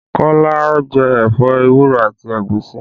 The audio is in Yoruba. Kọ́lá ẹ̀fọ́ ewúro àti ẹ̀gúsí